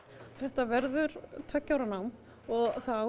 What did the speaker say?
þetta verður tveggja ára nám og það á